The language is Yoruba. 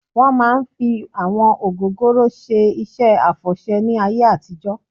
Wọ́n máa ń fi àwọn ògógóró ṣe iṣẹ́ àfọ̀ṣẹ́ ní ayé àtijọ́